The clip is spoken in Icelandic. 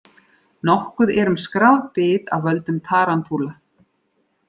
Nokkuð er um skráð bit af völdum tarantúla.